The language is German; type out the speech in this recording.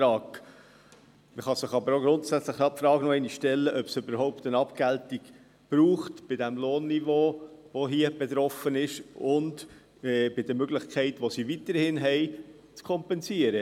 Man kann sich die Frage aber auch grundsätzlich noch einmal stellen, ob es überhaupt eine Abgeltung braucht bei dem hier betroffenen Lohnniveau und bei den weiterhin bestehenden Möglichkeiten, zu kompensieren.